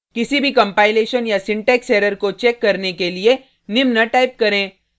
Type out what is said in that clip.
किसी भी कंपाइलेशन या सिंटेक्स एरर को चेक करने के लिए निम्न टाइप करें